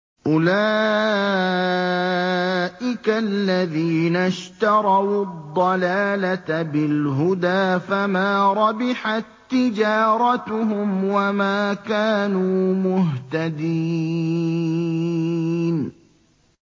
أُولَٰئِكَ الَّذِينَ اشْتَرَوُا الضَّلَالَةَ بِالْهُدَىٰ فَمَا رَبِحَت تِّجَارَتُهُمْ وَمَا كَانُوا مُهْتَدِينَ